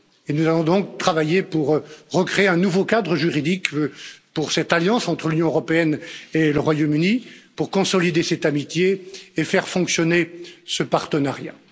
Nous allons donc travailler pour recréer un nouveau cadre juridique pour cette alliance entre l'Union européenne et le Royaume Uni, pour consolider cette amitié et faire fonctionner ce partenariat.